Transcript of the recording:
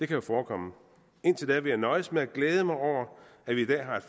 kan jo forekomme indtil da vil jeg nøjes med at glæde mig over at vi i dag